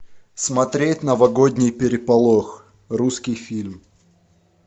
смотреть новогодний переполох русский фильм